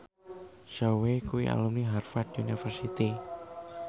Zhao Wei kuwi alumni Harvard university